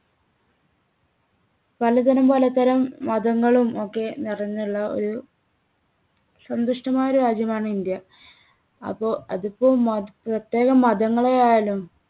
പലതരം പലതരം മതങ്ങളും ഒക്കെ നിറഞ്ഞുള്ള ഒരു സന്തുഷ്ടമായ ഒരു രാജ്യമാണ് ഇന്ത്യ. അപ്പോ അതിപ്പോ മത പ്രത്യേകം മതങ്ങളെ ആയാലും